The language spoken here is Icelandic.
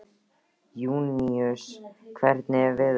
Júníus, hvernig er veðurspáin?